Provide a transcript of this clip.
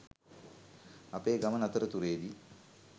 අපේ ගමන අතරතුරේදී